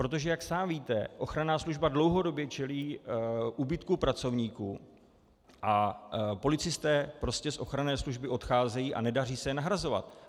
Protože jak sám víte, ochranná služba dlouhodobě čelí úbytku pracovníků a policisté prostě z ochranné služby odcházejí a nedaří se je nahrazovat.